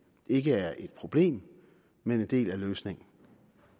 ikke er et problem men en del af løsningen